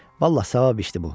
Vallah, savab işdir bu.